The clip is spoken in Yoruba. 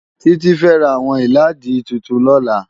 Titi fè rá áwòn ilàádí tútún lòlá